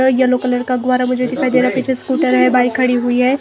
Yellow colour का गुब्बारा मुझे दिखाई दे रहा है पीछे स्कूटर है बाइक खड़ी हुई है।